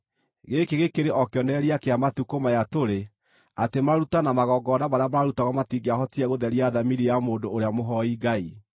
Gĩkĩ gĩkĩrĩ o kĩonereria kĩa matukũ maya tũrĩ, atĩ maruta na magongona marĩa maarutagwo matingĩahotire gũtheria thamiri ya mũndũ ũrĩa mũhooi Ngai.